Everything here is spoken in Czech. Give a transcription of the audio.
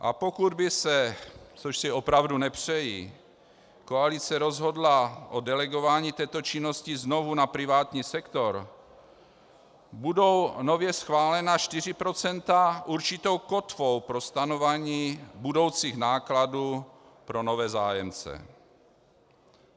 A pokud by se, což si opravdu nepřeji, koalice rozhodla o delegování této činnosti znovu na privátní sektor, budou nově schválená 4 % určitou kotvou pro stanovování budoucích nákladů pro nové zájemce.